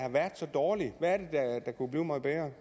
og